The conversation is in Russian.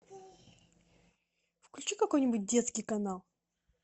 включи какой нибудь детский канал